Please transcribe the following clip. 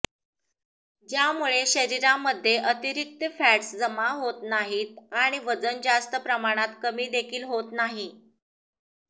ज्यामुळे शरीरामध्ये अतिरिक्त फॅट्स जमा होत नाहीत आणि वजन जास्त प्रमाणात कमी देखील होत नाही